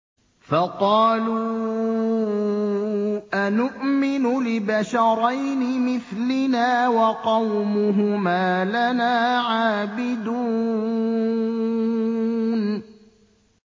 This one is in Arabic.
فَقَالُوا أَنُؤْمِنُ لِبَشَرَيْنِ مِثْلِنَا وَقَوْمُهُمَا لَنَا عَابِدُونَ